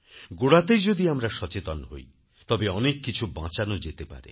গোড়াতেই যদি আমরা সচেতন হই তবে অনেক কিছু বাঁচানো যেতে পারে